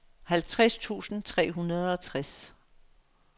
halvtreds tusind tre hundrede og tres